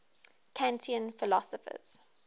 kantian philosophers